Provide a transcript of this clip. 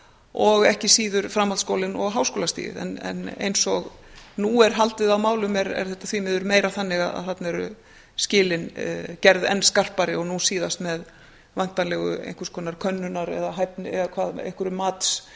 og ekki síður framhaldsskólinn og háskólastigið eins og nú er haldið á málum er þetta því miður meira þannig að þarna eru skilin gerð enn skarpari og nú síðast með væntanlegu könnunar eða efnis eða matsgerð